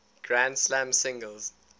grand slam singles